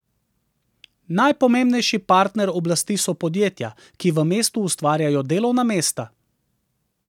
Najpomembnejši partner oblasti so podjetja, ki v mestu ustvarjajo delovna mesta.